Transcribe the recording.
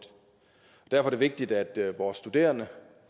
derfor er det vigtigt at vores studerende